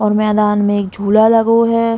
और मैदान में एक झूला लगो है।